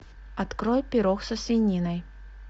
открой пирог со свининой